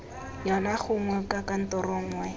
yona gongwe kwa kantorong nngwe